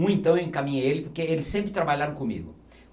Um, então, eu encaminhei ele porque ele sempre trabalharam comigo.